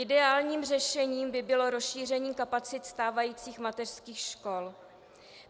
Ideálním řešením by bylo rozšíření kapacit stávajících mateřských škol.